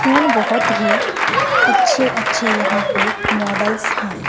Phone बहोत ही अच्छे अच्छे यहां पे मॉडल्स हैं।